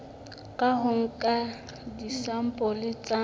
ka ho nka disampole tsa